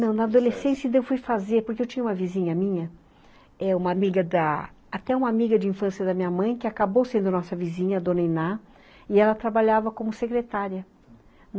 Não, na adolescência eu fui fazer, porque eu tinha uma vizinha minha, eh, até uma amiga de infância da minha mãe, que acabou sendo nossa vizinha, a dona Iná, e ela trabalhava como secretária.